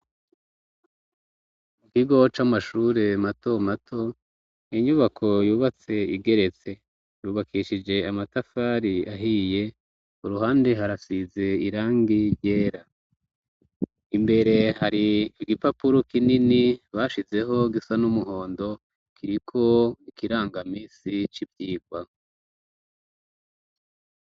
Mu kigo c' amashure mato mato inyubako yubatse igeretse yubakishije amatafari ahiye uruhande harafize irangi ryera imbere hari igipapuro kinini bashizeho gisa n'umuhondo kiriko ikirangamisi c'ivyirwa.